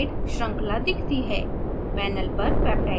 panel पर peptide श्रृंखला दिखती है